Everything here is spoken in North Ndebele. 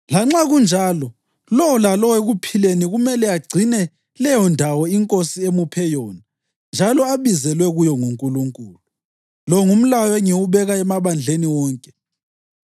Lanxa kunjalo, lowo lalowo ekuphileni kumele agcine leyondawo iNkosi emuphe yona njalo abizelwe kuyo nguNkulunkulu. Lo ngumlayo engiwubeka emabandleni wonke.